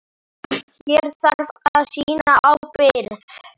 Hér þarf að sýna ábyrgð.